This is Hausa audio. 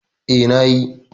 Eh, na yi